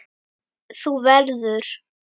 Þú verður.